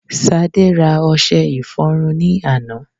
Sade ra ọṣe ìfọrunni àná